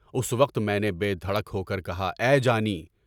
اُس وقت میں نے بے دھڑک ہوکر کہا: اے جانی!